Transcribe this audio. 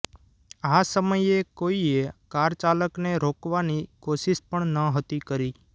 આ સમયે કોઈએ કારચાલકને રોકવાની કોશિશ પણ નહોતી કરી